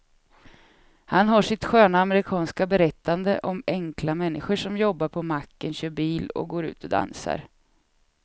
Han har sitt sköna amerikanska berättande om enkla människor som jobbar på macken, kör bil och går ut och dansar.